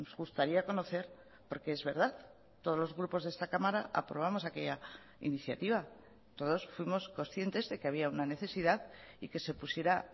gustaría conocer porque es verdad todos los grupos de esta cámara aprobamos aquella iniciativa todos fuimos conscientes de que había una necesidad y que se pusiera